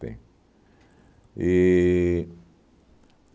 Tem. E